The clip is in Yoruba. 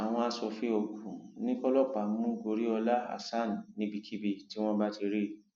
àwọn aṣòfin ogun ní kọlọpàá mú goriola hasan níbikíbi tí wọn bá ti rí i